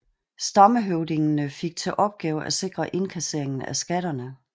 Stammehøvdingene fik til opgave at sikre indkasseringen af skatterne